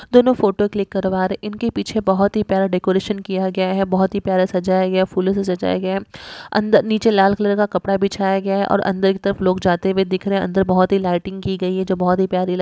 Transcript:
दोनों photo click करवा रहे हैं इनके पीछे बहुत ही प्यारा डेकोरेशन किया गया है बहुत ही प्यारा सजाया गया फूलों से सजाया गया अंदर नीचे लाल कलर का कपड़ा बिछाया गया और अंदर की तरफ लोग जाते हुए दिख रहे अंदर बहुत ही लाइटिंग की गई है जो बहुत ही प्या--